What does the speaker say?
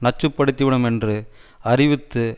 நச்சுப்படுத்திவிடும் என்று அறிவித்து